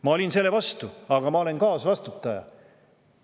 Ma olin selle vastu, aga ma olen kaasvastutaja.